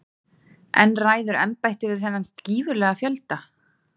En ræður embættið við þennan gífurlega fjölda?